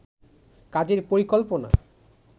কাজের পরিকল্পনা